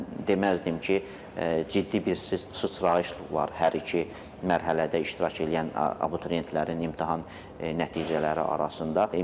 Mən deməzdim ki, ciddi bir sıçrayış var hər iki mərhələdə iştirak eləyən abituriyentlərin imtahan nəticələri arasında.